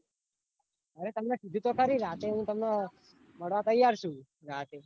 અરે તમને કીધું તો ખરી રાતે હું તમને મળવા તૈયાર છુ રાતે